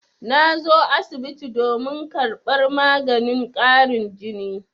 Na zo asibiti domin karɓar maganin ƙarin jini.